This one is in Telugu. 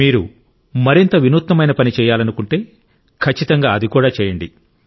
మీరు మరింత వినూత్నమైన పని చేయాలనుకుంటే ఖచ్చితంగా అది కూడా చేయండి